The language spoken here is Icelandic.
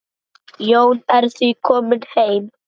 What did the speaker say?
Jón er því kominn heim.